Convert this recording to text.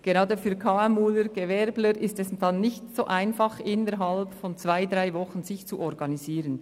Gerade für KMU-Vertreter und Gewerbler ist es nicht so einfach, sich innert zwei bis drei Wochen zu organisieren.